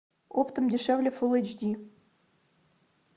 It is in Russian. оптом дешевле фул эйч ди